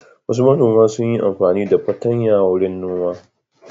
Wasu manoma sun yi amfani da fatanya wurin noma.